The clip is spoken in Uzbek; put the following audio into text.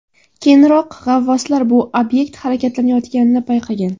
Keyinroq g‘avvoslar bu obyekt harakatlanayotganini payqagan.